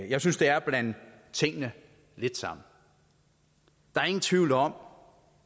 jeg synes det er at blande tingene lidt sammen der er ingen tvivl om